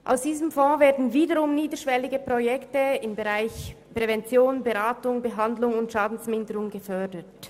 Aus diesem Fonds werden niederschwellige Projekte im Bereich Prävention, Beratung, Behandlung und Schadenminderung gefördert.